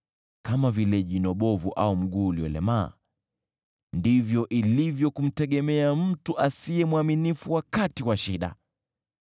Kama vile jino bovu au mguu uliolemaa, ndivyo ilivyo kumtegemea mtu asiye mwaminifu wakati wa shida.